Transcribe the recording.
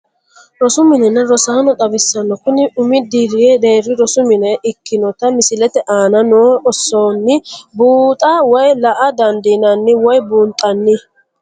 Rosu minenna rosaano xawisanno, kuni umi deeri rosi mine ikkinotta misilete aanna noo oosonni buuxxa woyi la'a dandinanni woyi buunxanni